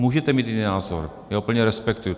Můžete mít jiný názor, já to plně respektuji.